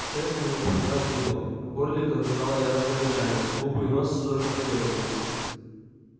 шерсть на ней поднялась дыбом в горле клокотало яростное рычание губы и нос судорожно подёргивались